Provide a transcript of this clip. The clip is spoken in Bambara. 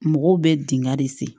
Mɔgɔw bɛ dingɛ de sen